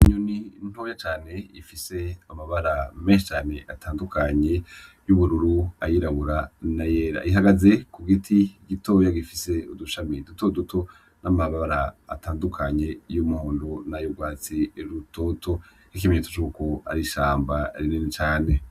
Inyoni ntoya cane ifise amabara menshi cane atandukanye y'ubururu, ayirabura na yera, ihagaze ku giti gitoya gifise udushami duto duto, n'amabara atandukanye y'umuhondo na y'urwatsi rutoto, n'ikimenyetso cuko ari ishamba rinini cane.